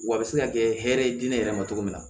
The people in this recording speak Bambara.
Wa a bɛ se ka kɛ hɛrɛ ye diinɛ yɛrɛ ma cogo min na